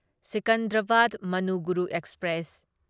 Secunderabad Manuguru express